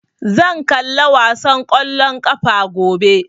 Zan kalla wasan ƙwallon ƙafa gobe